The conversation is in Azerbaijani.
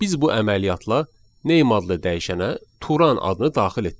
Biz bu əməliyyatla "name" adlı dəyişənə Tural adını daxil etdik.